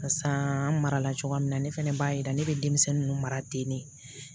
Barisa n marala cogoya min na ne fana b'a yira ne bɛ denmisɛnnin ninnu mara ten de